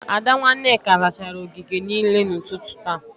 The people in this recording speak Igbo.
Ada, nwa Nneka zachara ogige niile n'ụtụtụ taa